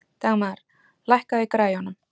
Dagmar, lækkaðu í græjunum.